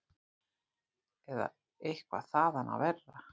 Eða eitthvað þaðan af verra.